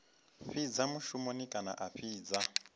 fhidza mushumoni kana a fhidza